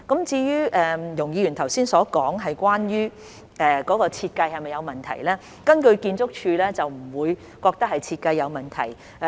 至於容議員剛才問及系統在設計上是否有問題，建築署並不覺得是設計問題。